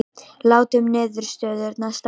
Látum niðurstöðurnar standa